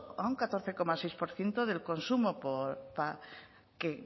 a un catorce coma seis por ciento del consumo que